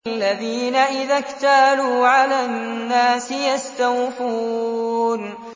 الَّذِينَ إِذَا اكْتَالُوا عَلَى النَّاسِ يَسْتَوْفُونَ